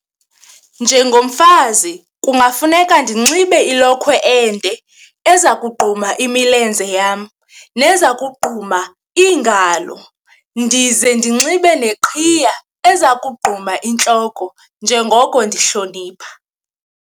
Njengomfazi kungafuneka ndinxibe ilokhwe ende eza kogquma imilenze yam neza kogquma iingalo, ndize ndinxibe neqhiya eza kogquma intloko njengoko ndihlonipha.